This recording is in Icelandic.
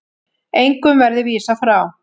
Engum verði vísað frá.